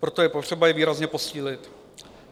Proto je potřeba je výrazně posílit.